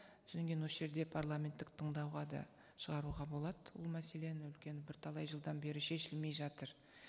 содан кейін осы жерде парламенттік тыңдауға да шығаруға болады ол мәселені үлкен бірталай жылдан бері шешілмей жатыр